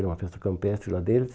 Era uma festa campestre lá deles.